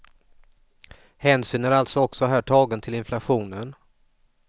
Hänsyn är alltså också här tagen till inflationen.